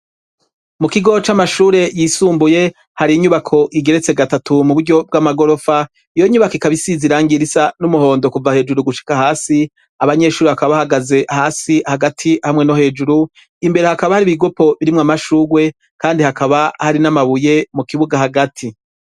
Mu kigo c'amashure yisumbuye hari inyubako igeretse gatatu mu buryo bw'amagorofa iyo nyubako ikaba isize irangi risa n'umuhondo kuva hejuru gushika hasi abanyeshuri bakaba bahagaze hasi hagati hamwe no hejuru imbere hakaba hari ibigopo birimwo amashurwe kandi hakaba hari n'amabuye mu kibuga hagati.